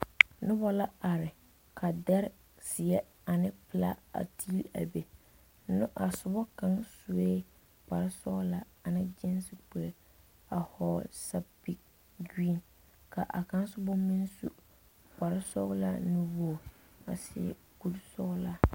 Noba la are ka dɛre zeɛ ne pelaa a teeli a ne a soba kaŋa sue kpare sɔglaa ane gyeese kuree pelaa a vɔgle zupili gereeni ka a kaŋa soba na meŋ su kpare sɔglaa nuwogi a seɛ kuri sɔglaa.